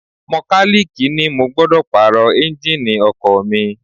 Mọkálíìkì ni mo gbọ́dọ̀ Pààrọ̀ Ẹ́ńjíìnì ọkọ̀ mi